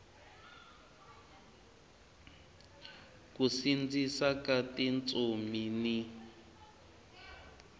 ku sindzisa ka tintsumi ni